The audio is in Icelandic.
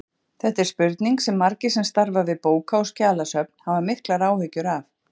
Þetta er spurning sem margir sem starfa við bóka- og skjalasöfn hafa miklar áhyggjur af.